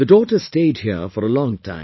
The daughter stayed here for a long time